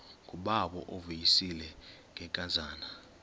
ngubawo uvuyisile ngenkazana